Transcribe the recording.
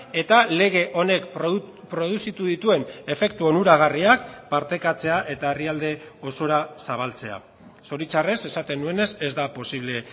eta lege honek produzitu dituen efektu onuragarriak partekatzea eta herrialde osora zabaltzea zoritxarrez esaten nuenez ez da posible